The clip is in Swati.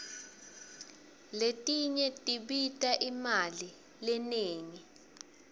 letinye tibita imali lenengi